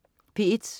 P1: